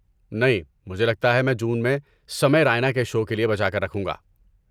نہیں، مجھے لگتا ہے میں جون میں سمے رائنا کے شو کے لیے بچا کر رکھوں گا۔